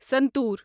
santoor